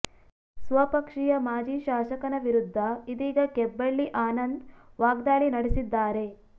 ಸ್ವಪಕ್ಷೀಯ ಮಾಜಿ ಶಾಸಕನ ವಿರುದ್ಧ ಇದೀಗ ಕೆಬ್ಬಳ್ಳಿ ಆನಂದ್ ವಾಗ್ದಾಳಿ ನಡೆಸಿದ್ದಾರೆ